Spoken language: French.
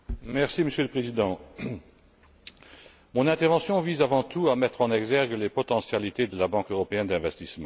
Monsieur le Président, mon intervention vise avant tout à mettre en exergue les potentialités de la Banque européenne d'investissement.